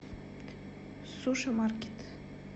суши маркет